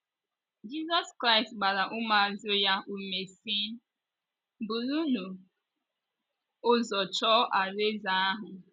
Jizọs Kraịst gbara ụmụazụ ya ume si, "burunu ụzọ chọọ alaeze ahụ".